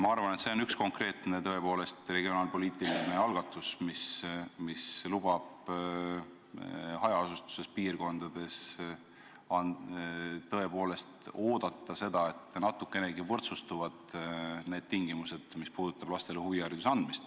Ma arvan, et see on tõepoolest üks konkreetne regionaalpoliitiline algatus, mis lubab hajaasustusega piirkondade elanikel loota seda, et natukenegi võrdsustuvad need tingimused, mis puudutavad lastele huvihariduse andmist.